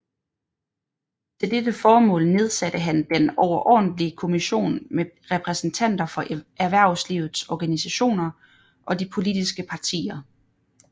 Til dette formål nedsatte han Den overordentlige Kommission med repræsentanter for erhvervslivets organisationer og de politiske partier